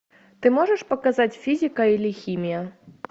ты можешь показать физика или химия